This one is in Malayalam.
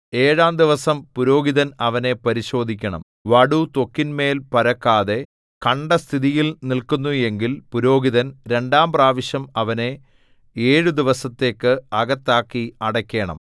ഏഴാം ദിവസം പുരോഹിതൻ അവനെ പരിശോധിക്കണം വടു ത്വക്കിന്മേൽ പരക്കാതെ കണ്ട സ്ഥിതിയിൽ നില്ക്കുന്നു എങ്കിൽ പുരോഹിതൻ രണ്ടാം പ്രാവശ്യം അവനെ ഏഴു ദിവസത്തേക്ക് അകത്താക്കി അടയ്ക്കേണം